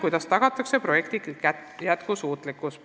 Kuidas tagatakse projekti jätkusuutlikkus?